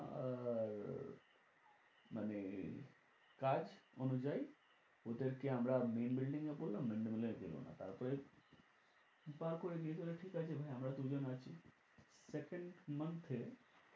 মানে কাজ অনুযায়ী ওদেরকে আমরা main building এ বললাম main building এ দিলো না। তারপরে ঠিক আছে আমরা দু জন আছি second month এ